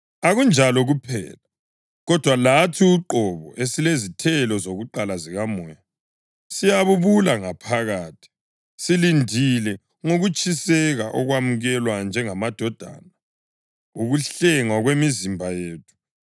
Akunjalo kuphela, kodwa lathi uqobo esilezithelo zakuqala zikaMoya, siyabubula ngaphakathi silindile ngokutshiseka ukwamukelwa njengamadodana, ukuhlengwa kwemizimba yethu.